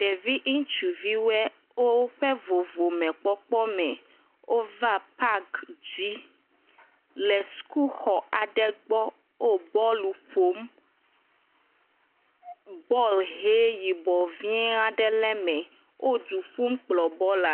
Ɖevi ŋutsuvi ɖewoe, woƒe vovomekpɔkpɔme, wova paaki dzi, le skuluxɔ aɖe gbɔ. Wo bɔɔlu ƒom. Bɔɔl ʋee. Yibɔ vɛ̃aɖe le me. Wo du ƒum kplɔ bɔɔla.